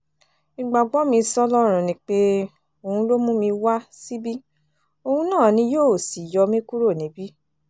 ìgbàgbọ́ mi sọ́lọ́run ni pé òun ló mú mi wá síbi òun náà ni yóò sì yọ mí kúrò níbí